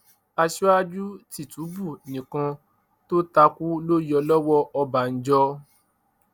aṣíwájú tìtúbù nìkan tó ta kú ló yọ lọwọ ọbànjọ